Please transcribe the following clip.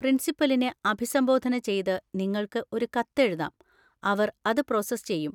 പ്രിൻസിപ്പലിനെ അഭിസംബോധന ചെയ്ത് നിങ്ങൾക്ക് ഒരു കത്ത് എഴുതാം, അവർ അത് പ്രോസസ്സ് ചെയ്യും